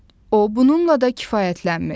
O, bununla da kifayətlənmir.